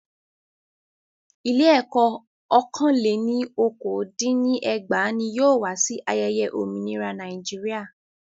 Ilé ẹ̀kọ́ ọ́kàn lẹ́ ní okòó dín ní ẹgbàá ní yóò wá sí ayẹyẹ òmìnira Nàíjíríà.